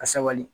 Ka sabali